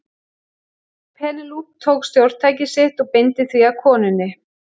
Penélope tók stjórntækið sitt og beindi því að konunni.